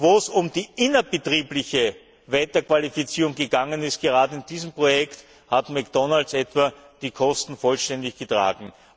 Wo es um die innerbetriebliche Weiterqualifikation gegangen ist, gerade in diesem Projekt, hat McDonald's etwa die Kosten vollständig getragen.